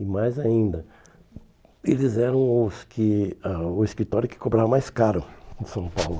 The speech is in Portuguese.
E mais ainda, eles eram os que ãh o escritório que cobrava mais caro em São Paulo.